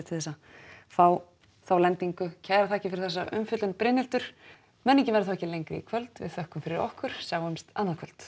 til þess að fá þá lendingu kærar þakkir fyrir þessa umfjöllun Brynhildur menningin verður þá ekki lengri í kvöld við þökkum fyrir okkur sjáumst annað kvöld